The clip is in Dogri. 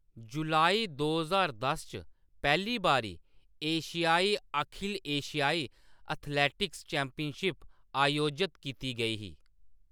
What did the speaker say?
जुलाई दो ज्हार दस च, पैह्‌ली बारी एशियाई अखिल एशियाई एथलेटिक्स चैम्पियनशिप अयोजत कीती गेई ही।